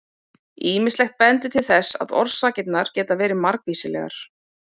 Ýmislegt bendir til þess að orsakirnar geti verið margvíslegar.